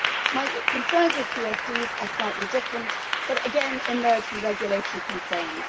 My concerns with CSDs are slightly different but again emerge from regulatory concerns.